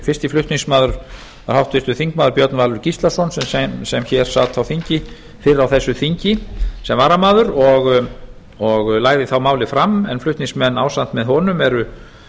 fyrsti flutningsmaður er háttvirtur þingmaður björn valur gíslason sem hér sat á þingi fyrr á þessu þingi sem varamaður og lagði þá málið fram en flutningsmenn ásamt með honum eru